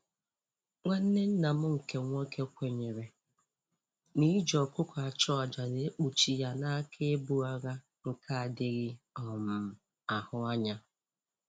Nwanne nna m nke nwoke kwenyere na-iji ọkụkọ achụ aja na-ekpuchi ya n'aka ibu agha nke adịghị um ahụ anya